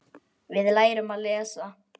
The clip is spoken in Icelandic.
Við lærum að lesa.